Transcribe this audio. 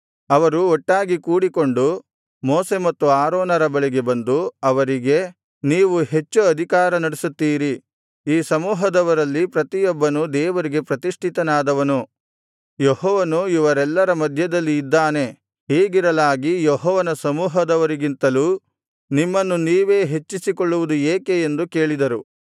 ಅವರು ಒಟ್ಟಾಗಿ ಕೂಡಿಕೊಂಡು ಮೋಶೆ ಮತ್ತು ಆರೋನರ ಬಳಿಗೆ ಬಂದು ಅವರಿಗೆ ನೀವು ಹೆಚ್ಚು ಅಧಿಕಾರ ನಡೆಸುತ್ತೀರಿ ಈ ಸಮೂಹದವರಲ್ಲಿ ಪ್ರತಿಯೊಬ್ಬನು ದೇವರಿಗೆ ಪ್ರತಿಷ್ಠಿತನಾದವನು ಯೆಹೋವನು ಇವರೆಲ್ಲರ ಮಧ್ಯದಲ್ಲಿ ಇದ್ದಾನೆ ಹೀಗಿರಲಾಗಿ ಯೆಹೋವನ ಸಮೂಹದವರಿಗಿಂತಲೂ ನಿಮ್ಮನ್ನು ನೀವೇ ಹೆಚ್ಚಿಸಿಕೊಳ್ಳುವುದು ಏಕೆ ಎಂದು ಕೇಳಿದರು